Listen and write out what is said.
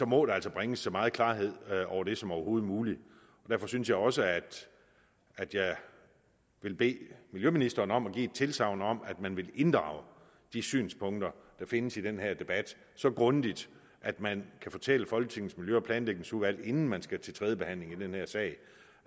må der altså bringes så meget klarhed over det som overhovedet muligt derfor synes jeg også at at jeg vil bede miljøministeren om at give et tilsagn om at man vil inddrage de synspunkter der findes i den her debat så grundigt at man kan fortælle folketingets miljø og planlægningsudvalg inden man skal til tredje behandling i den her sag